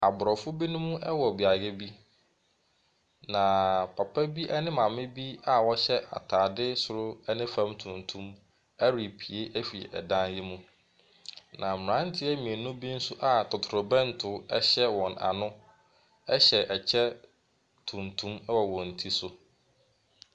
Aborɔfo binom wɔ beaeɛ bi, na papa bi ne maame bi a wɔhyɛ atade soro ne fam tuntum repue afiri dan yi mu, na mmeranteɛ mmienu bi nso a totorobɛnto hyɛ wɔn ano hyɛ kyɛ tuntum wɔ wɔn ti so.